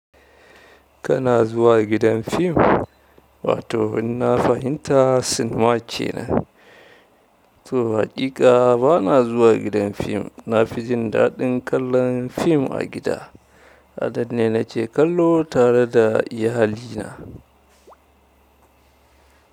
Kana zuwa gidan fim? Wato in na fahimta sinima ke nan. To haƙiƙa ba na zuwa gidan fim. Na fi jin daɗin kallon fim a gida. Adad ne nake kallo tare da iyalina.